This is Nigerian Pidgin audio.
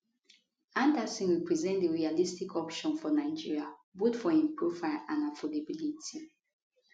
andersson represent di realistic option for nigeria both for im profile and affordability